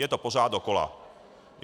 Je to pořád dokola.